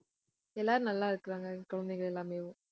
எல்லாரும் நல்லா இருக்கிறாங்க, குழந்தைங்க எல்லாமேவும்